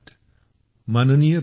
Rane